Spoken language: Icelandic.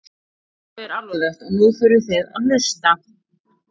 Málið er alvarlegt og nú þurfið þið að hlusta?